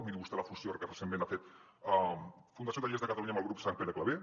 miri vostè la fusió que recentment ha fet la fundació tallers de catalunya amb el grup sant pere claver